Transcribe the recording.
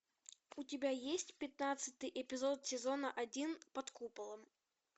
у тебя есть пятнадцатый эпизод сезона один под куполом